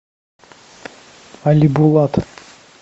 алибулат